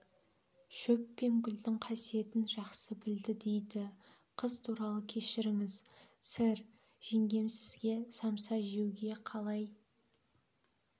шөп пен гүлдің қасиетін жақсы білді дейді қыз туралы кешіріңіз сэр жеңгем сізге самса жеуге қалай